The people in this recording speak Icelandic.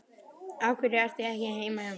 Af hverju ertu ekki heima hjá þér?